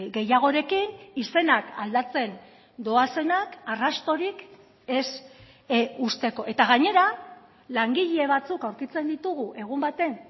gehiagorekin izenak aldatzen doazenak arrastorik ez usteko eta gainera langile batzuk aurkitzen ditugu egun baten